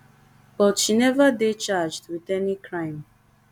but she neva dey charged wit any crime